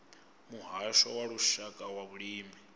muhasho wa lushaka wa vhulimi